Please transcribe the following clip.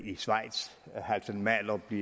i schweiz halfdan mahler blev